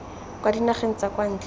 kwa dinageng tsa kwa ntle